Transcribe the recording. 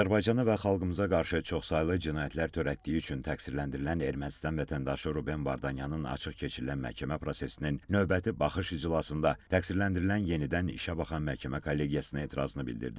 Azərbaycan və xalqımıza qarşı çoxsaylı cinayətlər törətdiyi üçün təqsirləndirilən Ermənistan vətəndaşı Ruben Vardanyanın açıq keçirilən məhkəmə prosesinin növbəti baxış iclasında təqsirləndirilən yenidən işə baxan məhkəmə kollegiyasına etirazını bildirdi.